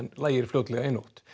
lægir fljótlega í nótt